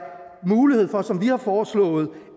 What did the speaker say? mulighed for som vi har foreslået